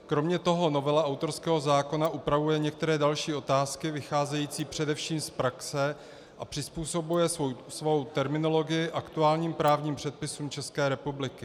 Kromě toho novela autorského zákona upravuje některé další otázky vycházející především z praxe a přizpůsobuje svou terminologii aktuálním právním předpisům České republiky.